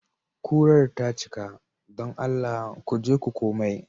Kurar ta cika. don Allah ku je ku komai.